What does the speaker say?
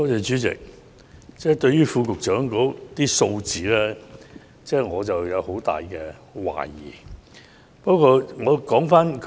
主席，對於局長提供的數字，我有很大懷疑。